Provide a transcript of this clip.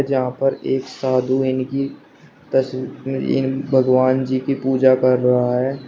यहां पर एक साधु इनकी तस्वीर भगवान जी की पूजा कर रहा है।